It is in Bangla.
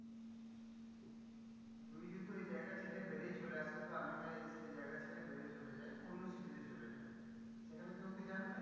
তুই যেহেতু ওই জায়গা ছেড়ে বেরিয়ে চলে আসিস বা আমিও ওই সেই জায়গা ছেড়ে বেরিয়ে চলে যাই, অন্য city তে চলে যাই, সেখানে কেউ কি জানবে?